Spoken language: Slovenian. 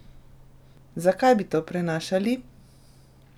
Zakaj bi to prenašali?